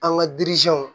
An ka